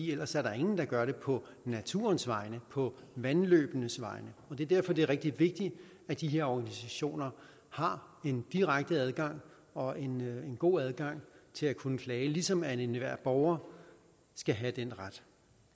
ellers er der ingen der gør det på naturens vegne på vandløbenes vegne det er derfor det er rigtig vigtigt at de her organisationer har en direkte adgang og en god adgang til at kunne klage ligesom enhver borger skal have den ret